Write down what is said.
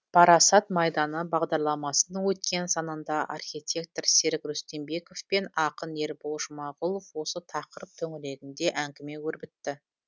парасат майданы бағдарламасының өткен санында архитектор серік рүстембеков пен ақын ербол жұмағұлов осы тақырып төңірегінде әңгіме өрбітті